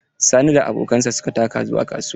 Sani da abokansa su ka taka zuwa kasuwa.